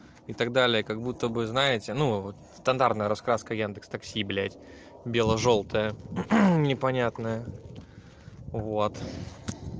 и так далее как будто бы знаете ну вот стандартная раскладка яндекс такси блядь бело-желтая непонятная вот